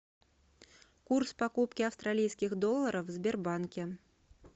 курс покупки австралийских долларов в сбербанке